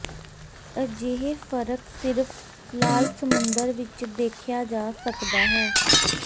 ਅਜਿਹੇ ਫ਼ਰਕ ਸਿਰਫ਼ ਲਾਲ ਸਮੁੰਦਰ ਵਿਚ ਦੇਖਿਆ ਜਾ ਸਕਦਾ ਹੈ